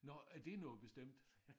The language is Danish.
Nåh er det noget bestemt?